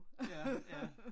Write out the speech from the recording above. Ja ja